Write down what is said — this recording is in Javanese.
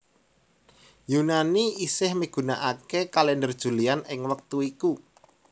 Yunani isih migunakaké Kalèndher Julian ing wektut iku